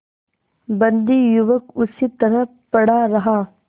बंदी युवक उसी तरह पड़ा रहा